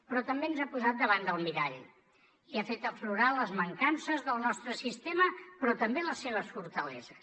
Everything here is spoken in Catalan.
però també ens ha posat davant del mirall i ha fet aflorar les mancances del nostre sistema però també les seves fortaleses